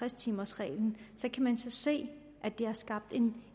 timers reglen kan man se at det har skabt en